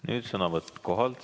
Nüüd sõnavõtt kohalt.